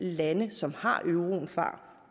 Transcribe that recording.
de lande som har euroen fra